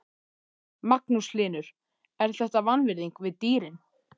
Magnús Hlynur: Er þetta vanvirðing við dýrin?